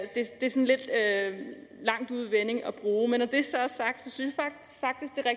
en lidt langt ude vending at bruge men når det så er sagt synes at